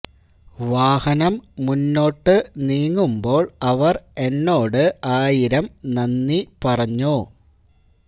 വാഹനം മുന്നോട്ടു നീങ്ങുമ്പോൾ അവർ എന്നോട് ആയിരം നന്ദി പറഞ്ഞു